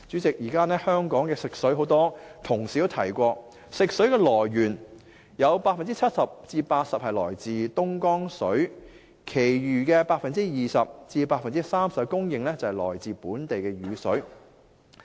代理主席，很多同事都提過，現時香港食水的來源有 70% 至 80% 來自東江水，其餘 20% 至 30% 供應來自本地雨水。